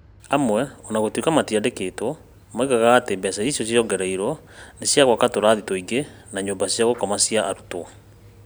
Amwe, o na gũtuĩka matiandĩkĩtwo, moigaga atĩ mbeca icio ciongereirũo nĩ cia gwaka tũratathi tũngĩ na nyũmba cia gũkoma cia arutwo.